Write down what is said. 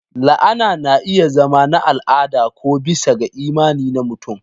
La'ana na iya zama na al'ada ko bisa ga imani na mutum.